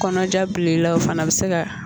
Kɔnɔja bil'e la o fana be se ka